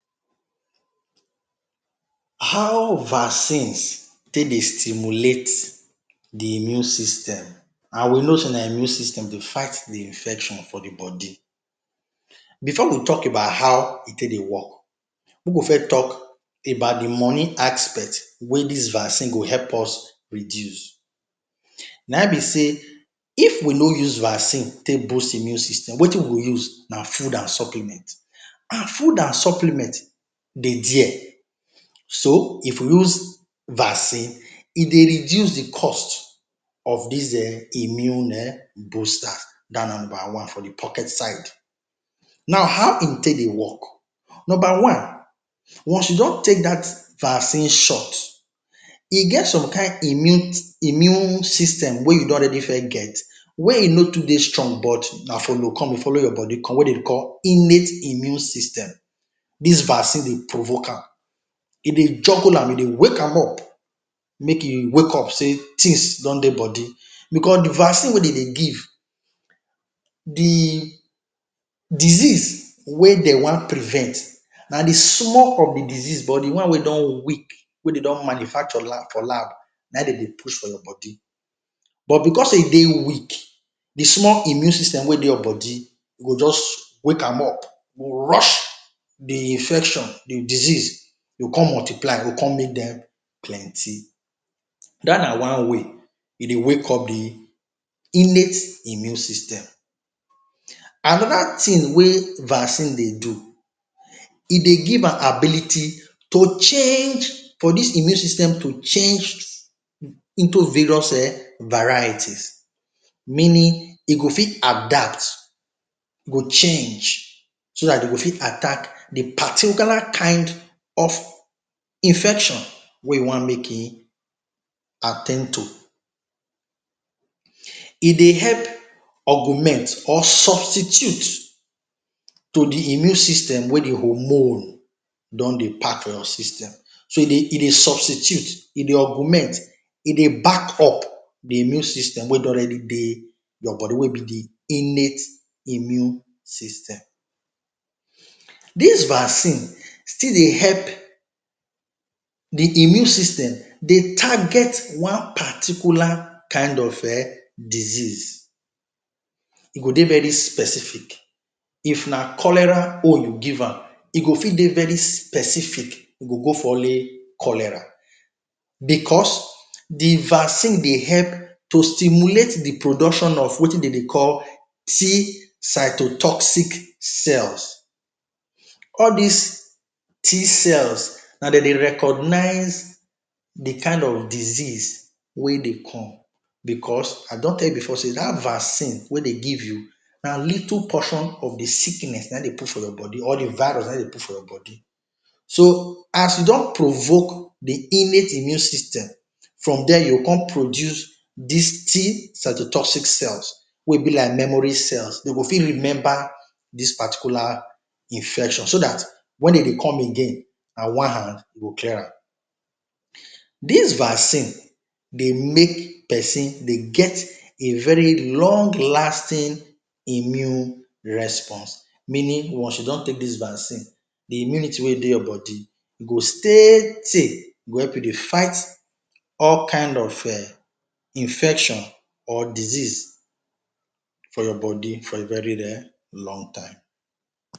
How Vaccines take Dey Stimulate d Immune System and We Know sey na immune system Dey fight d Infection for the Body Before we talk about how e take Dey work, we go first talk about the money aspects where this vaccine go help us reduce.na hin b sey if we no use vaccine take boost immune system, wetib we go use na food and supplement, and food and supplement dey there, so if we use vaccine e Dey reduce d cost of dis um, immune um booster, dat one na one for d pocket side, now how e take Dey work number one, once u just take dat vaccine shot e get some kind immune system wey u don already first get wey e no to Dey strong but na follow come e follow your body come wey dem Dey call innate immune system, dis vaccine Dey provoke am, e Dey juggle am e Dey wake am up, make e wake up say things don Dey body, because d vaccine wey dem Dey give d disease wey dem wan prevent na d small of d disease but di one wey don weak wey dem don manufacture la for lab na hin dem Dey push for your body, but because say e Dey weak d small immune system wey Dey your body, go jus wake am up rush d infection, d disease go con multiply, con make dem plenty, dat na one way e Dey wake up d innate immune system, anoda thing wey vaccine Dey do e Dey give am ability to change for dis immune system to change into various um varieties, meaning e go fit adapt e go change, so dat dem go fit attack d particular kind of infection wey u wan make hin at ten d to, e Dey help augment or substitute to d immune system wey d hormone don Dey pack for your system, so e dey e dey substitute, e Dey augment, e Dey back up d immune system wey don already Dey your body wey b innate immune system, dis vaccine still Dey help d immune system Dey target one particular kind of um disease, e go Dey very specific, if na cholera own u give am, e go fit Dey very specific, e go go for only cholera because d vaccine Dey help to stimulate d production of Wetin dem Dey call cell all dis T cells na dem Dey recognize d kind of disease wey Dey come because, I don tell u before say dat vaccine wey Dey give u, na little portion of d sickness na hin dem put for your body or d virus na hin dem put for your body so as u don provoke d innate immune system, from there u go con produce dis cells wey b like memory cels dem go fit remember dis particular infection, so dat wen dem Dey come again na one hand go clear am, dis vaccine Dey make person Dey get a very long lasting immune response, meaning once u don take dis vaccine, d immunity wey go Dey your body go stay tay, Dey fight all kind of um infection or disease for your body for a very um long time.